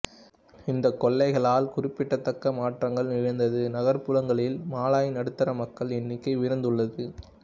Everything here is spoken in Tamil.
இந்தக் கொள்கைகளால் குறிப்பிடத்தக்க மாற்றங்கள் நிகழ்ந்து நகரப்புறங்களில் மலாய் நடுத்தர மக்களின் எண்ணிக்கை உயர்ந்துள்ளது